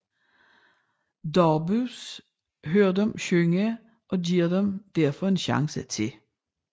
Darbus hører dem synge og giver dem derfor en chance til